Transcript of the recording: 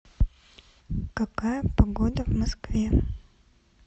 какая погода в москве